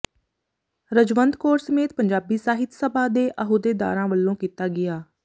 ਰਜਵੰਤ ਕੌਰ ਸਮੇਤ ਪੰਜਾਬੀ ਸਾਹਿਤ ਸਭਾ ਦੇ ਅਹੁਦੇਦਾਰਾਂ ਵੱਲੋਂ ਕੀਤਾ ਗਿਆ